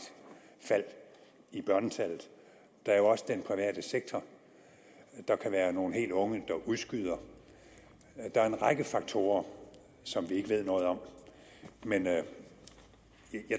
fald i børnetallet der er jo også den private sektor og der kan være nogle helt unge der udskyder det der er en række faktorer som vi ikke ved noget om men jeg